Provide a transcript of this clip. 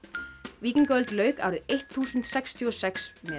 víkingaöld lauk árið eittþúsund sextíu og sex með